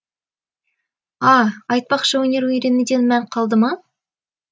а айтпақшы өнер үйренуден мән қалды ма